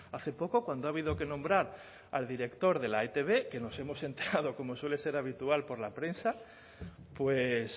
hace poco cuando ha habido que nombrar al director de la etb que nos hemos enterado como suele ser habitual por la prensa pues